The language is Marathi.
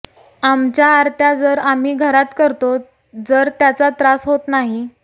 आमच्या आरत्या जर आम्ही घरात करतो जर त्याचा त्रास होत नाही